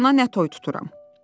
Gör ona nə toy tuturam.